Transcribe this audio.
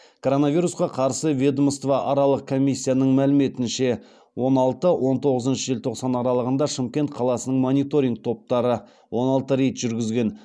коронавирусқа қарсы ведомствоаралық комиссияның мәліметінше он алты он тоғызыншы желтоқсан аралығында шымкент қаласының мониторинг топтары он алты рейд жүргізген